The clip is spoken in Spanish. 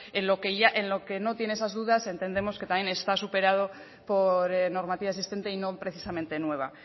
en lo que no tiene esas dudas entendemos que también está superado por normativa existente y no precisamente nueva